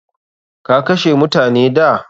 Ka kashe mutane da?